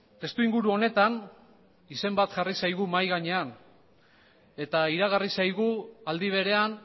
testuinguru honetan izen bat jarri zaigu mahai gainean eta iragarri zaigu aldi berean